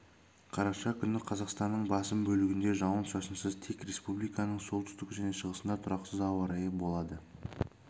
қараша күні қазақстанның басым бөлігінде жауын-шашынсыз тек республиканың солтүстігі және шығысында тұрақсыз ауа райы болады кей